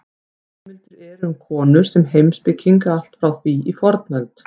Heimildir eru um konur sem heimspekinga allt frá því í fornöld.